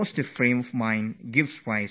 We have to radiate a positive energy